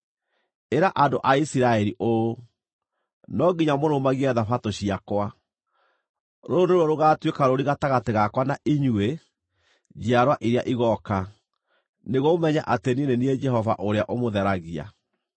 “Ĩra andũ a Isiraeli ũũ: ‘No nginya mũrũmagie Thabatũ ciakwa. Rũrũ nĩruo rũgatuĩka rũũri gatagatĩ gakwa na inyuĩ njiarwa iria igooka, nĩguo mũmenye atĩ niĩ nĩ niĩ Jehova ũrĩa ũmũtheragia.